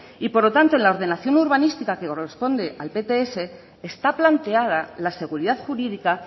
por lo tanto en la ordenación urbanística que corresponde al pts está planteada la seguridad jurídica